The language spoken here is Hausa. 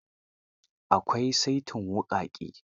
Akwai saitin wuƙaƙe.